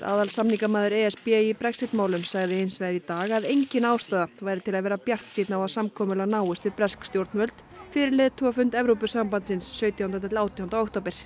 aðalsamningamaður e s b í Brexit sagði hins vegar í dag að engin ástæða væri til að vera bjartsýnn á að samkomulag náist við bresk stjórnvöld fyrir leiðtogafund Evrópusambandsins sautjánda til átjánda október